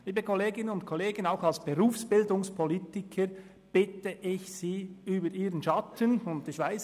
Liebe Kolleginnen und Kollegen, auch als Berufsbildungspolitiker bitte ich Sie, über Ihren Schatten zu springen und hier der Regierung zu folgen.